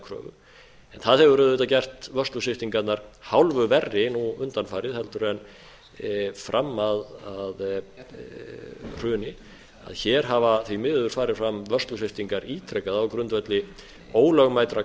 kröfu en það hefur auðvitað gert vörslusviptingarnar hálfu verri nú undanfarið heldur en fram að hruni að hér hafa því miður farið fram vörslusviptingar ítrekað á grundvelli ólögmætra